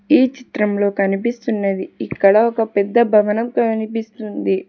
ఈ చిత్రంలో కనిపిస్తున్నది ఇక్కడ ఒక పెద్ద భవనం కనిపిస్తుంది.